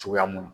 Cogoya mun na